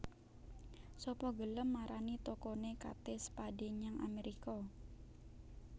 Sapa gelem marani tokone Kate Spade nyang Amerika?